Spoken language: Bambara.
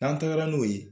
N'an tagara n'o ye